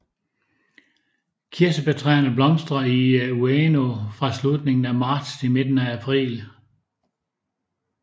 Kirsebærtræerne blomstrer i Ueno fra slutningen af marts til midten af april